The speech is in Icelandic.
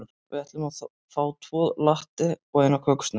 Við ætlum að fá tvo latte og eina kökusneið.